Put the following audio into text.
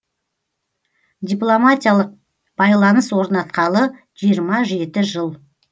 дипломатиялық байланыс орнатқалы жиырма жеті жыл